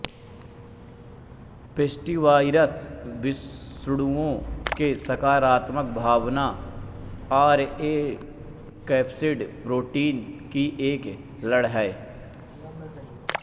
pestivirus विषाणुओं में सकारात्मकभावना आरएनएकैप्सिड प्रोटीन कि एक लड़ है